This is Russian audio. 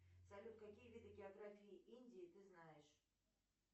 салют какие виды географии индии ты знаешь